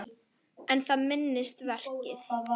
En það er minnsta verkið.